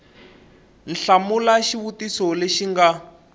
hlamula xivutiso lexi xi nga